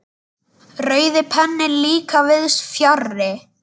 Rauði penninn líka víðs fjarri.